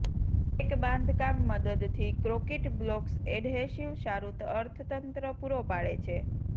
એક બાંધકામ મદદથી કોંક્રિટ બ્લોક્સ એડહેસિવ સારું અર્થતંત્ર પૂરો પાડે છે